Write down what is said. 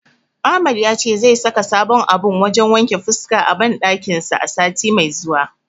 Ahmad yace zai saka sabon abun wajen wanke fuska a banɗakin sa sati mai zuwa.